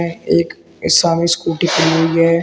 यहाँ एक ये सामने स्कूटी खड़ी हुई है।